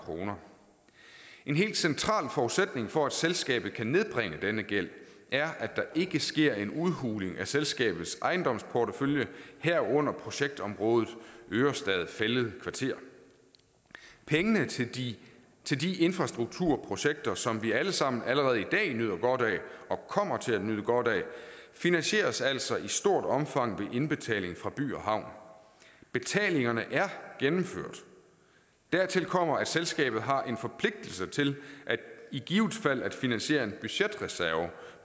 kroner en helt central forudsætning for at selskabet kan nedbringe denne gæld er at der ikke sker en udhuling af selskabets ejendomsportefølje herunder projektområdet ørestad fælled kvarter de de infrastrukturprojekter som vi alle sammen allerede i dag nyder godt af og kommer til at nyde godt af finansieres altså i stort omfang gennem indbetalinger fra by havn betalingerne er gennemført dertil kommer at selskabet har en forpligtelse til i givet fald at finansiere en budgetreserve